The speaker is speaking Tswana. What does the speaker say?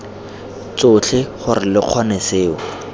tsotlhe gore lo kgone seo